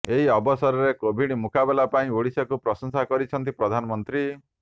ଏହି ଅବସରରେ କୋଭିଡ୍ ମୁକାବିଲା ପାଇଁ ଓଡ଼ିଶାକୁ ପ୍ରଶଂସା କରିଛନ୍ତି ପ୍ରଧାନମନ୍ତ୍ରୀ